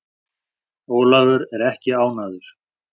Ólafur er ekki ánægður.